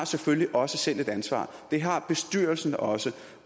selvfølgelig også selv har et ansvar det har bestyrelsen også